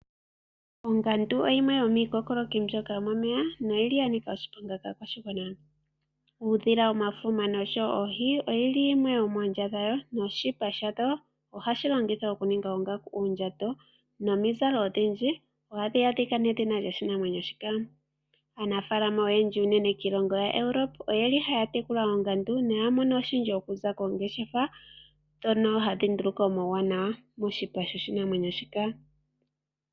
Ongandu oyo yimwe yomiikokoloki mbyoka yomomeya noyili yanika oshiponga kaakwashigwana. Ohayili uudhi, oohi nomafuma noshipa shayo ohashi longithwa oku ninga oongaku, uundjato nomizalo odhindji ohadhi adhika nedhina lyoshinamwenyo shika. Aanafalama oyendji unene kiilongo yaEuropa oyeli haya tekula oongandu noyeli haya mono oshindji okuza koongeshefa ndhoka hadhi nduluka omauwanawa okuza koshipa shika.